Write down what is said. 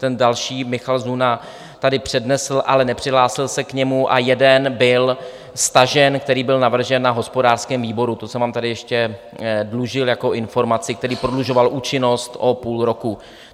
Ten další Michal Zuna tady přednesl, ale nepřihlásil se k němu a jeden byl stažen, který byl navržen na hospodářském výboru, to jsem vám tady ještě dlužil jako informaci, který prodlužoval účinnost o půl roku.